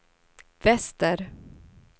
väster